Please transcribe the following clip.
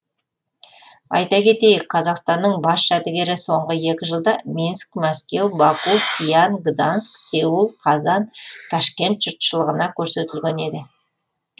айта кетейік қазақстанның бас жәдігері соңғы екі жылда минск мәскеу баку сиан гданьск сеул қазан ташкент жұртшылығына көрсетілген еді